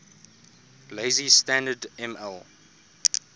lazy standard ml